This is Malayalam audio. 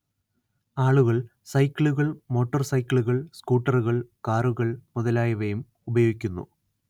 ആളുകൾ സൈക്കിളുകൾ മോട്ടോർ സൈക്കിളുകൾ സ്കൂട്ടറുകൾ കാറുകൾ മുതലായവയും ഉപയോഗിക്കുന്നു